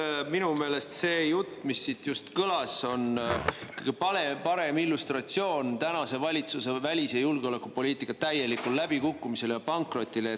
No minu meelest see jutt, mis siin just kõlas, on tänase valitsuse välis‑ ja julgeolekupoliitika täieliku läbikukkumise ja pankroti kõige parem illustratsioon.